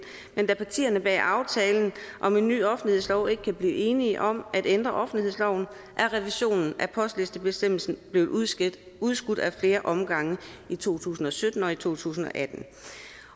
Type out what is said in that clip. men da partierne bag aftalen om en ny offentlighedslov ikke kan blive enige om at ændre offentlighedsloven er revisionen af postlistebestemmelsen blevet udskudt udskudt ad flere omgange i to tusind og sytten og i to tusind og atten